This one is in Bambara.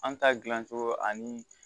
An ta gilan cogo ani